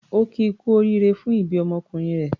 Ó kí i kú oríire fún ìbí ọmọkùnrin rẹ̀.